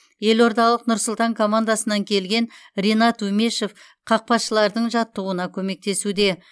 елордалық нұр сұлтан командасынан келген ринат умешев қақпашылардың жаттығуына көмектесуде